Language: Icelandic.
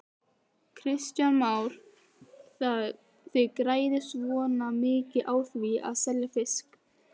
Kristján Már: Þið græðið svona mikið á því að selja fiskinn?